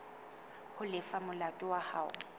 ho lefa molato wa hao